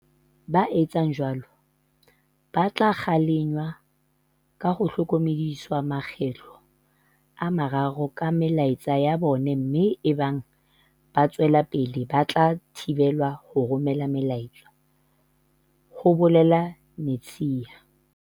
"Ba etsang jwalo ba tla kgalengwa ka ho hlokomediswa makgetlo a mararo ka melaetsa ya bona mme ebang ba tswela pele ba tla thibelwa ho romela melaetsa," ho bolela Netshiya.